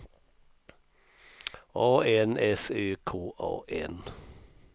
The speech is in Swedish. A N S Ö K A N